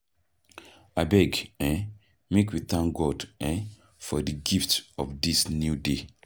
Abeg, um make we thank God um for di gift of dis new day.